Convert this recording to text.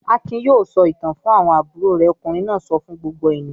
"Akin yóò sọ ìtàn fún àwọn àbúrò rẹ̀!" Ọkùnrin náà sọ fún gbogbo ènìyàn.